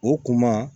O kuma